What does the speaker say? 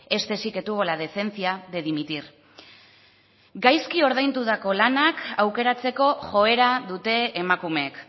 este sí que tuvo la decencia de dimitir gaizki ordaindutako lanak aukeratzeko joera dute emakumeek